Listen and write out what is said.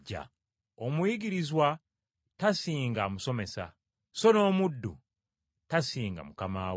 “Omuyigirizwa tasinga amusomesa, so n’omuddu tasinga mukama we.